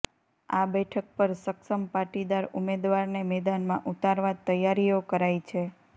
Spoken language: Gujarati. આ બેઠક પર સક્ષમ પાટીદાર ઉમેદવારને મેદાનમાં ઉતારવા તૈયારીઓ કરાઇ છે